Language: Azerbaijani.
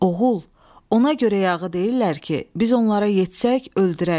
Oğul, ona görə yağı deyirlər ki, biz onlara yetsək öldürərik.